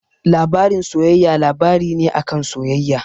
Labarin soyayya labari ne a kan soyayya.